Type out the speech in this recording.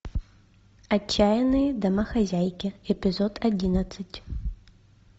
отчаянные домохозяйки эпизод одиннадцать